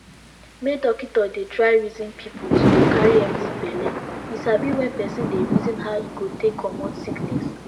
make dockito dey try reson pple to dey carry empti belle u sabi wen pesin dey reson how e go take comot sickiness